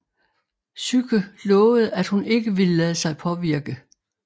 Psyke lovede at hun ikke ville lade sig påvirke